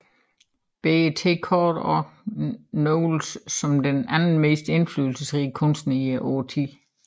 BET kårede også Knowles som den anden mest inflydelsesrige kunstner i årtiet